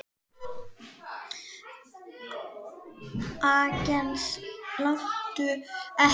Agnes, láttu ekki svona!